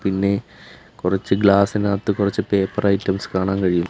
പിന്നെ കുറച്ച് ഗ്ലാസിനകത്ത് കുറച്ച് പേപ്പർ ഐറ്റംസ് കാണാൻ കഴിയും.